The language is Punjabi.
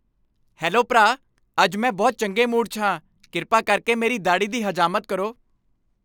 ਹੈਲੋ ਭਰਾ, ਅੱਜ ਮੈਂ ਬਹੁਤ ਚੰਗੇ ਮੂਡ 'ਚ ਹਾਂ। ਕਿਰਪਾ ਕਰਕੇ ਮੇਰੀ ਦਾੜ੍ਹੀ ਦੀ ਹਜਾਮਤ ਕਰੋ।